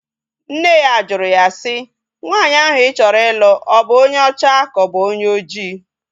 Nne ya jụrụ ya si, nwaanyị ahụ ị chọrọ ịlụ ọ bụ onye ọcha ka ọ bụ onye oji?